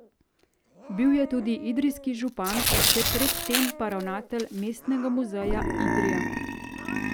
Bil je tudi idrijski župan, še pred tem pa ravnatelj Mestnega muzeja Idrija.